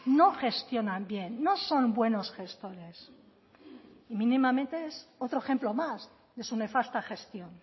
no gestionan bien no son buenos gestores mínimamente es otro ejemplo más de su nefasta gestión